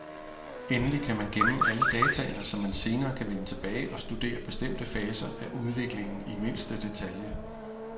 Endelig kan man gemme alle dataene, så man senere kan vende tilbage og studere bestemte faser af udviklingen i mindste detalje.